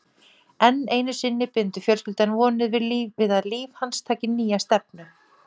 Enn einu sinni bindur fjölskyldan vonir við að líf hans taki nýja stefnu.